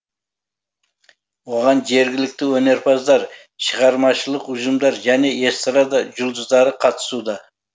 оған жергілікті өнерпаздар шығармашылық ұжымдар және эстрада жұлдыздары қатысуда